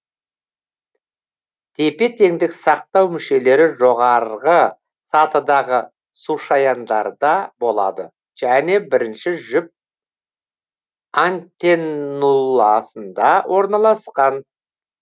тепе тендік сақтау мүшелері жоғарғы сатыдағы сушаяндарда болады және бірінші жүп антеннуласында орналасқан